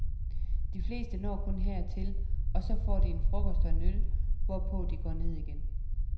De fleste når kun hertil og så får de en frokost og en øl, hvorpå de går ned igen.